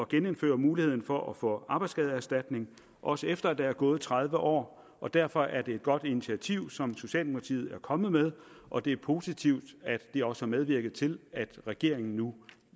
genindføre muligheden for at få arbejdsskadeerstatning også efter at der er gået tredive år og derfor er det et godt initiativ som socialdemokratiet er kommet med og det er positivt at det også har medvirket til at regeringen nu